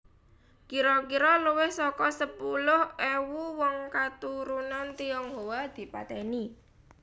Kira kira luwih saka sepuluh ewu wong katurunan Tionghoa dipatèni